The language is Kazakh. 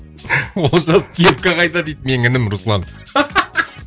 олжас кепка қайда дейді менің інім руслан